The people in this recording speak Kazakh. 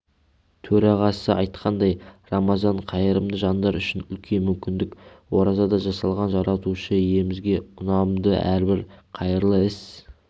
төрағасы айтқандай рамазан қайырымды жандар үшін үлкен мүмкіндік оразада жасалған жаратушы иемізге ұнамды әрбір қайырлы іс